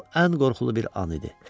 Bu ən qorxulu bir an idi.